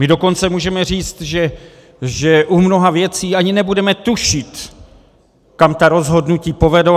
My dokonce můžeme říct, že u mnoha věcí ani nebudeme tušit, kam ta rozhodnutí povedou.